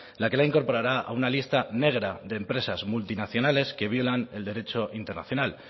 la que la incorporará a una lista negra de empresas multinacionales que violan el derecho internacional